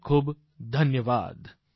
ખૂબખૂબ ધન્યવાદ